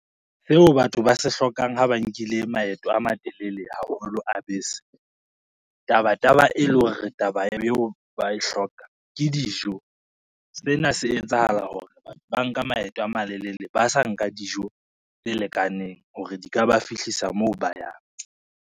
Seo batho ba se hlokang ho ba nkile maeto a matelele haholo a bese, tabataba e leng hore taba ba e hloka ke dijo. Sena se etsahala hore batho ba nka maeto a malelele, ba sa nka dijo tse lekaneng hore di ka ba fihlisa moo ba yang.